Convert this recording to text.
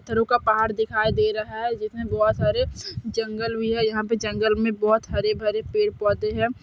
पत्थरों का पहाड़ दिखाई दे रहा है जिसमे बहोत सारे जंगल भी है यहां पे जंगल मे बहोत हरे-भरे पेड़ पौधे है।